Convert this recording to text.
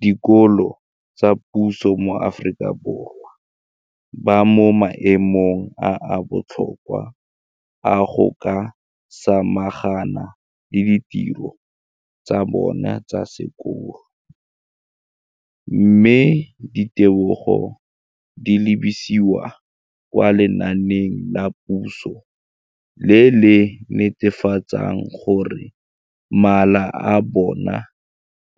Dikolo tsa puso mo Aforika Borwa ba mo maemong a a botoka a go ka samagana le ditiro tsa bona tsa sekolo, mme ditebogo di lebisiwa kwa lenaaneng la puso le le netefatsang gore mala a bona